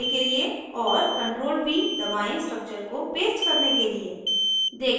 और ctrl + v दबाएं structures को paste करने के लिए